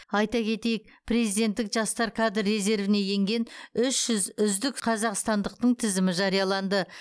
айта кетейік президенттік жастар кадр резервіне енген үш жүз үздік қазақстандықтың тізімі жарияланды